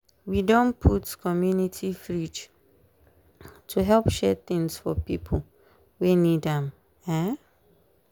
we don put community fridge to help share things for pipo wey need am. um